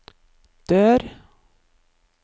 dør